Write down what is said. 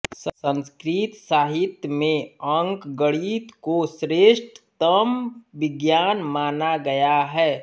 संस्कृत साहित्य में अंकगणित को श्रेष्ठतम विज्ञान माना गया है